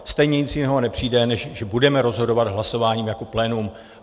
Stejně nic jiného nepřijde, než že budeme rozhodovat hlasováním jako plénum.